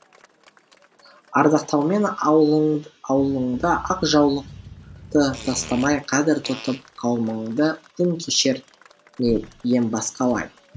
ардақтаумен ауылыңды ақ жаулықты тастамай қадір тұтып қауымыңды күн кешер ме ем басқалай